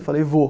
Eu falei, vou.